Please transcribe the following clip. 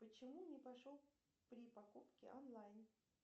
почему не пошел при покупке онлайн